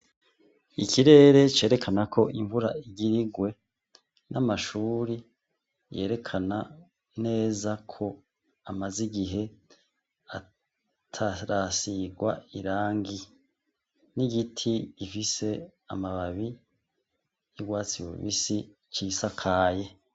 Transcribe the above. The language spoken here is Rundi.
Ikirere cerekana ko imvura igirirwe n'amashuri yerekana neza ko amaze igihe atarasirwa irangi n'igiti gifise amababi y'irwatsi bubisi cisiakaye.